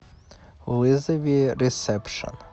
вызови ресепшн